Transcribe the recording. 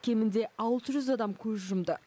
кемінде алты жүз адам көз жұмды